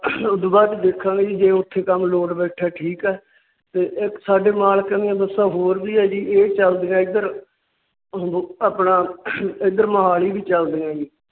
ਉਸ ਤੋਂ ਬਾਅਦ ਦੇਖਾਂਗੇ ਜੀ ਜੇ ਉੱਥੇ ਕੰਮ load ਬੈਠਾ ਤਾ ਠੀਕ ਹੈ। ਸਾਡੇ ਮਾਲਕ ਦੀਆ ਬੱਸਾਂ ਹੋਰ ਵੀ ਹੈ ਜੀ। ਇਹ ਚਲਦੀਆਂ ਇੱਧਰ ਆਪਣਾ ਇੱਧਰ ਮੋਹਾਲੀ ਵੀ ਚਲਦੀਆਂ ਜੀ।